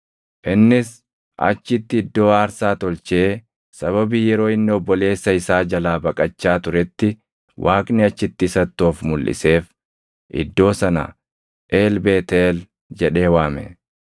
Innis achitti iddoo aarsaa tolchee sababii yeroo inni obboleessa isaa jalaa baqachaa turetti Waaqni achitti isatti of mulʼiseef iddoo sana El Beetʼeel jedhee waame.